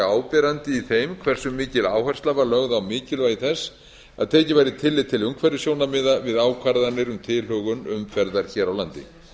áberandi í þeim hverju mikil áhersla var lögð á mikilvægi þess að tekið væri tillit til umhverfissjónarmiða við ákvarðanir um tilhögun umferðar hér á landi